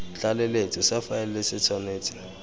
tlaleletso sa faele se tshwanetse